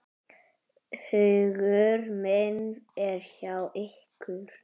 Hugur minn er hjá ykkur.